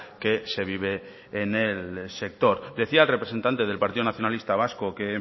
que se vive en el sector decía el representante del partido nacionalista vasco que